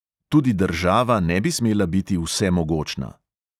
Tudi država ne bi smela biti vsemogočna.